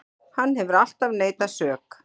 Hann hefur alltaf neitað sök